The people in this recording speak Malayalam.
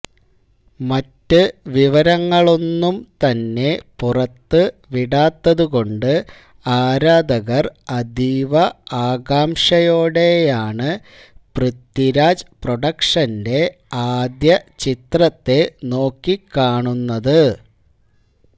മറ്റ് വിവരങ്ങളൊന്നും തന്നെ പുറത്ത് വിടാത്തതു കൊണ്ട് ആരാധകര് അതീവ ആകാംക്ഷയോടെയാണ് പൃഥ്വിരാജ് പ്രൊഡക്ഷന്റെ ആദ്യ ചിത്രത്തെ നോക്കിക്കാണുന്നത്